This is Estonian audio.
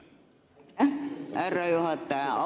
Aitäh, härra juhataja!